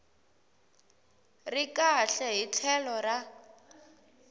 ri kahle hi tlhelo ra